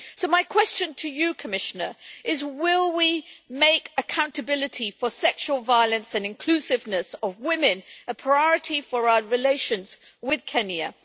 So, my question to you Commissioner is will we make accountability for sexual violence and inclusiveness of women a priority for our relations with Kenya?